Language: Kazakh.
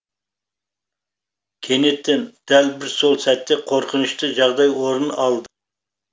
кенеттен дәл бір сол сәтте қорқынышты жағдай орын алды